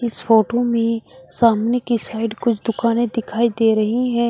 इस फोटो में सामने की साइड कुछ दुकानें दिखाई दे रही हैं।